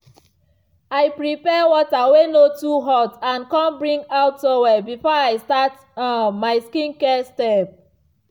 i prepare water way no too hot and come bring out towel before i start um my skincare step.